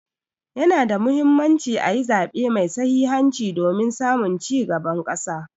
Ya na da Muhimmanci a yi zaɓe mai sahihanci domin samun ci gaban ƙasa.